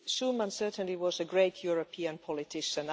Schuman certainly was a great European politician.